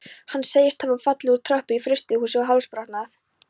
Hann segist hafa fallið úr tröppu í frystihúsi og hálsbrotnað.